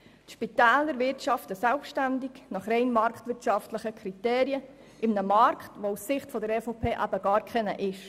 Die Spitäler wirtschaften nach rein marktwirtschaftlichen Kriterien selbständig in einem Markt, der aus Sicht der EVP eben gar keiner ist.